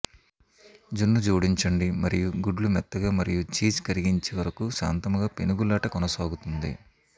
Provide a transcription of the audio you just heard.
జున్ను జోడించండి మరియు గుడ్లు మెత్తగా మరియు చీజ్ కరిగించి వరకు శాంతముగా పెనుగులాట కొనసాగుతుంది